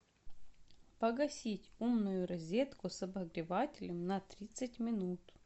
погасить умную розетку с обогревателем на тридцать минут